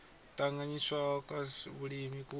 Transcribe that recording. tanganyisiwaho kwa zwa vhulimi ku